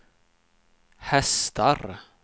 hästar